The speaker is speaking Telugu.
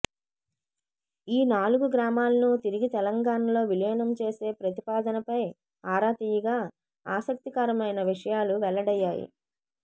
ఈ నాలుగు గ్రామాలను తిరిగి తెలంగాణలో విలీనం చేసే ప్రతిపాదనపై ఆరా తీయగా ఆసక్తికరమైన విషయాలు వెల్లడయ్యాయి